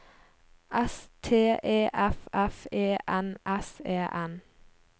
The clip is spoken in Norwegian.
S T E F F E N S E N